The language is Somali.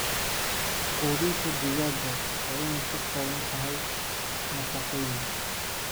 Quudinta digaaga waa in ay ka kooban tahay nafaqooyin.